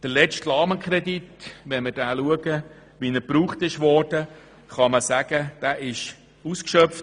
Der letzte Rahmenkredit wurde ausgeschöpft.